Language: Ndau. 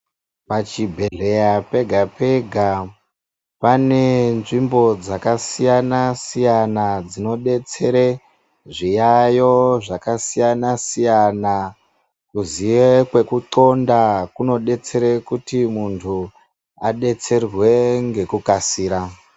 Pachibhedhlera pega pega pane nzvimbo dzakasiyana siyana dzinodetsere zviyayo zvakasiyana siyana, kuziye kwekuxonda kunodetsera kuti muntu adetserwe ngekukasira.